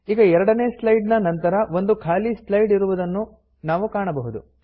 ಈಗ ಎರಡನೇ ಸ್ಲೈಡ್ ನ ನಂತರ ಒಂದು ಖಾಲಿ ಸ್ಲೈಡ್ ಸೇರಿರುವುದನ್ನು ನಾವು ಕಾಣಬಹುದು